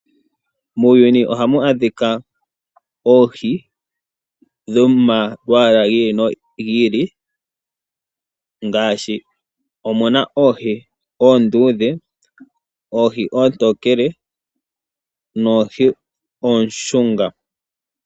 Muuyuni ohamu adhika oohii dhomalwala ngili Mongolia ngashi omuna oohii ondudhe, oohii otokele noohii oshunga.